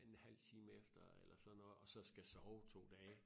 En halv time efter eller sådan noget og så skal sove 2 dage